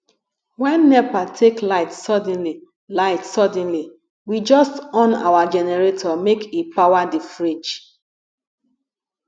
wen nepa take light suddenly light suddenly we just on our generator make e power di fridge